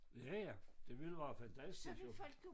Ja ja det ville være fantastisk jo